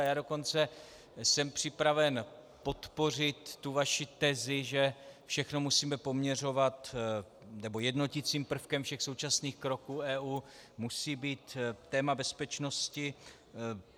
A já dokonce jsem připraven podpořit tu vaši tezi, že všechno musíme poměřovat - nebo jednoticím prvkem všech současných kroků EU musí být téma bezpečnosti.